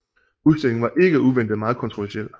Udstillingen var ikke uventet meget kontroversiel